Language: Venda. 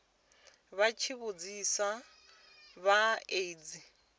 tsha tsivhudzo ya aids tsha